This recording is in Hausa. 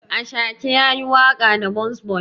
Ashake yayi waƙa da burns boy.